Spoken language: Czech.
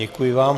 Děkuji vám.